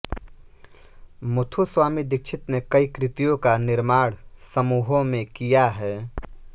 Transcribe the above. मुथुस्वामी दीक्षित ने कई कृतियों का निर्माण समूहों में किया है